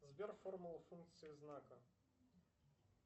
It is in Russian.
сбер формула функции знака